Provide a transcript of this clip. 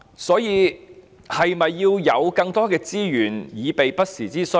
所以，是否應該有更多的資源以備不時之需？